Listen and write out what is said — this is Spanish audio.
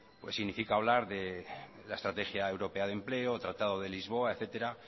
significa hablar de la estrategia europea de empleo tratado de lisboa etcétera